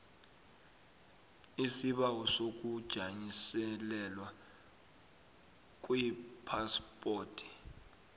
isibawo sokujanyiselelwa kwephaspoti